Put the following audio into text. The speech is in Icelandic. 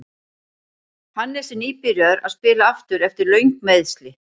Hannes er nýbyrjaður að spila aftur eftir löng meiðsli.